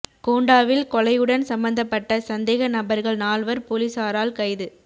கோண்டாவில் கொலையுடன் சம்பந்தப்பட்ட சந்தேக நபர்கள் நால்வர் பொலிஸாரால் கைது